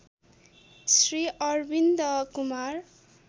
Shri Arvind Kumar